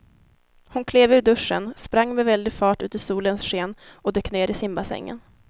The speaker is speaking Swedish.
Hon klev ur duschen, sprang med väldig fart ut i solens sken och dök ner i simbassängen.